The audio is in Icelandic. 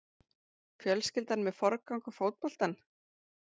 Fjölskyldan með forgang á fótboltann